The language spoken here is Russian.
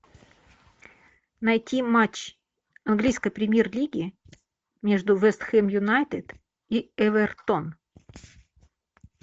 найти матч английской премьер лиги между вест хэм юнайтед и эвертон